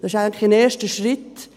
Das ist ein erster Schritt.